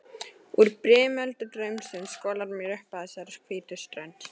Úr brimöldu draumsins skolar mér upp að þessari hvítu strönd.